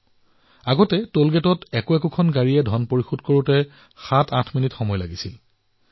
প্ৰথমে আমাৰ ইয়াত টোল প্লাজাত এখন গাড়ীৰ বাবে ৭ৰ পৰা ৮ মিনিটৰ প্ৰয়োজন হৈছিল